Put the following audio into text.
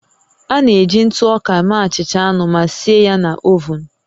A na-eji ntụ ọka mee achịcha anụ ma sie ya na ovun